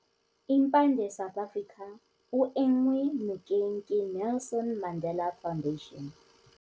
Impande South Africa o enngwe nokeng ke Nelson Mandela Foundation.